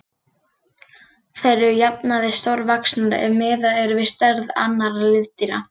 Þær eru að jafnaði stórvaxnar ef miðað er við stærð annarra liðdýra.